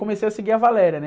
Comecei a seguir a, né?